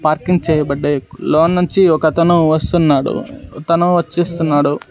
Parking చేయబడ్డాయ్ లోన్నుంచి ఒకతను వస్తున్నాడు తను వచ్చేస్తున్నాడు.